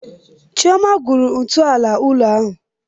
Chioma gwuru ntọala ụlọ ahụ.